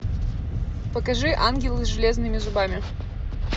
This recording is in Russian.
покажи ангелы с железными зубами